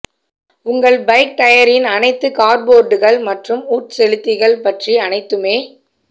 உங்கள் பைக் டயரின் அனைத்து கார்போர்டுகள் மற்றும் உட்செலுத்திகள் பற்றி அனைத்துமே